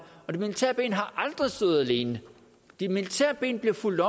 og det militære ben har aldrig stået alene de militære ben bliver fulgt